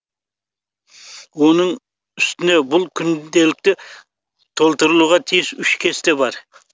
оның үстіне бұл күнделікте толтырылуға тиіс үш кесте бар